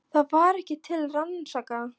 Það var ekkert til að rannsaka.